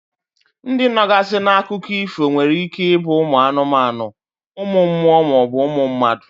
Ndi nọgazi n'akụkọ ifo nwere ike ibu umu anumanu, umu mmuo ma ọ bu umu mmadu.